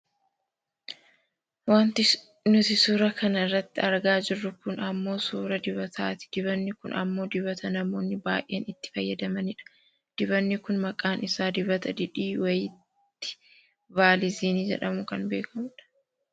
Wanti nuti suura kana irratti argaa jirru kun ammoo suuraa dibataati. Dibanni kun ammoo dibata namoonni baayyeen itti fayyadamanidha. Dibanni kun maqaan isaa dibata didi waayit vaaliziini jedhamun kan beekkamudha